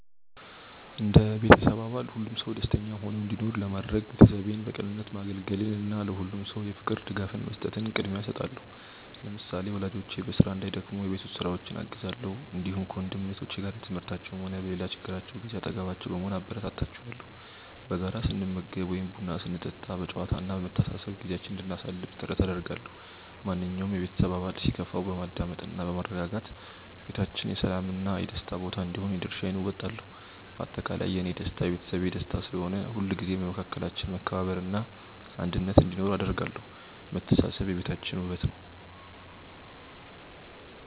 እንደ ቤተሰብ አባል ሁሉም ሰው ደስተኛ ሆኖ እንዲኖር ለማድረግ፣ ቤተሰቤን በቅንነት ማገልገልን እና ለሁሉም ሰው የፍቅር ድጋፍ መስጠትን ቅድሚያ እሰጣለሁ። ለምሳሌ፣ ወላጆቼ በስራ እንዳይደክሙ የቤት ውስጥ ስራዎችን አግዛለሁ፣ እንዲሁም ከወንድም እህቶቼ ጋር በትምህርታቸውም ሆነ በሌላ ችግራቸው ጊዜ አጠገባቸው በመሆን አበረታታቸዋለሁ። በጋራ ስንመገብ ወይም ቡና ስንጠጣ በጨዋታ እና በመተሳሰብ ጊዜያችንን እንድናሳልፍ ጥረት አደርጋለሁ። ማንኛውም የቤተሰብ አባል ሲከፋው በማዳመጥ እና በማረጋጋት ቤታችን የሰላም እና የደስታ ቦታ እንዲሆን የድርሻዬን እወጣለሁ። በአጠቃላይ፣ የእኔ ደስታ የቤተሰቤ ደስታ ስለሆነ፣ ሁልጊዜም በመካከላችን መከባበር እና አንድነት እንዲኖር አደርጋለሁ። መተሳሰብ የቤታችን ውበት ነው።